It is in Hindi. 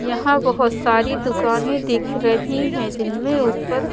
यहां बहुत सारी दुकानें दिख रही हैं जिनमें ऊपर--